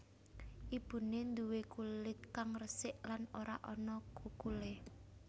Ibune nduwe kulit kang resik lan ora ana kukulé